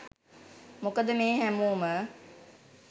මොකද මේ හැමෝම